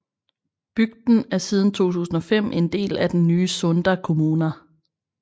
Bygden er siden 2005 en del af den nye Sunda kommuna